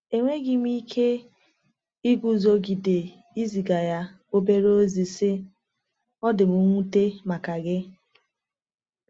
Enweghị m ike iguzogide iziga ya obere ozi, sị: “Ọ dị m nwute maka gị.